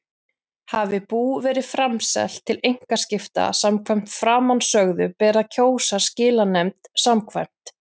Hafi bú verið framselt til einkaskipta samkvæmt framansögðu ber að kjósa skilanefnd samkvæmt